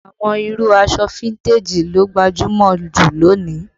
Àwọn irú aṣọ fíntèjì ló gbajúmọ̀ ju lónìí